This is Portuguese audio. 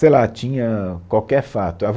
Sei lá, tinha qualquer fato. A